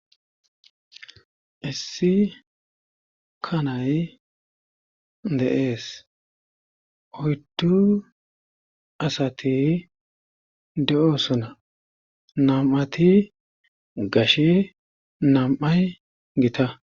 issi kanay de7ees oyddu asati de7oosona nam7ati gashi nam7ay gita